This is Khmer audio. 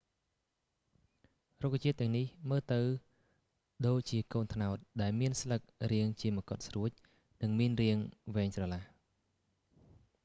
រុក្ខជាតិទាំងនេះមើលទៅដូចជាកូនត្នោត ដែលមានស្លឹករាងជាមកុដស្រួច និងមានរាងវែងស្រឡះ